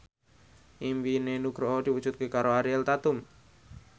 impine Nugroho diwujudke karo Ariel Tatum